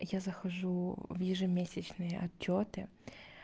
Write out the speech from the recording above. я захожу в ежемесячные отчёты